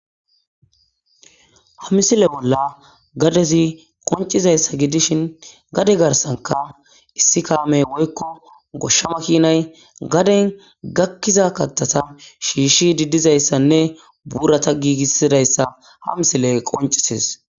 ha misile bolla gadezi qoncizayssa gidishin gade garsanka issi kaamey woykko goshshama kiinay gaden gakkiza kattata shiishshi diddizayssanne buurata giigissidayssa ha misile qoncisis